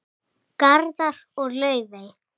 Garðar og Laufey.